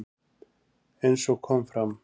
Eins og kom fram